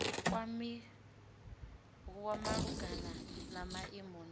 kwamiwa malugana na maimo na